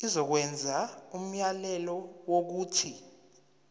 izokwenza umyalelo wokuthi